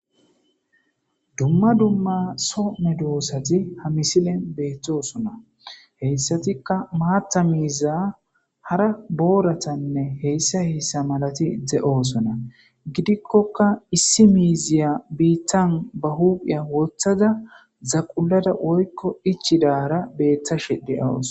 Dumma dumma soo medosati ha misilen beettosona heyssatikka maaththa miiza hara booratanne heyssa heyssa malati de'osona. Gidikkokka issi miiziya biitta ba hupgphen woththada zaqullada woykko ichchidaara beettashe de'awus.